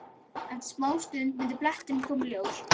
Eftir smástund myndi bletturinn koma í ljós.